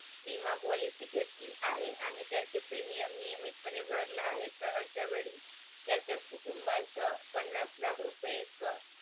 Reserve बँकेचे सर्वोच्च संचालन करणारे मंडळ म्हणजे मध्यवर्ती संचालक मंडळ या मध्यवर्ती संचालन मंडळातील संचालकांपैकी एक governor चार deputy governor इतर संचालक असतात.